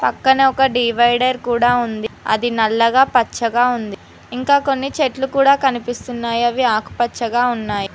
పక్కనే ఒక డివైడర్ కూడా ఉంది అది నల్లగా పచ్చగా ఉంది ఇంకా కొన్ని చెట్లు కూడా కనిపిస్తున్నాయి అవి ఆకు పచ్చగా ఉన్నాయి.